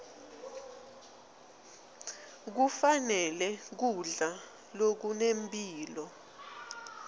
kufanele kudla lokunempilo